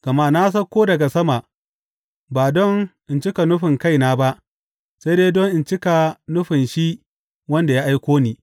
Gama na sauko daga sama ba don in cika nufin kaina ba sai dai don in cika nufin shi wanda ya aiko ni.